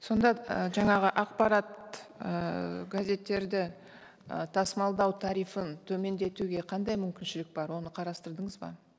сонда і жаңағы ақпарат ііі газеттерді і тасымалдау тарифін төмендетуге қандай мүмкіншілік бар оны қарастырдыңыз ба